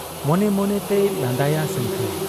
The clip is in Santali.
ᱢᱚᱱᱮ ᱢᱚᱱᱮᱛᱮᱭ ᱞᱟᱸᱫᱟᱭᱟ ᱥᱟᱹᱝᱠᱷᱟᱹᱭ ᱾